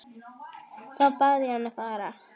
Þá bað ég hann að fara.